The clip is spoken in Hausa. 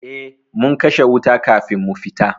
Eh mun kashe wuta kafin mu fita.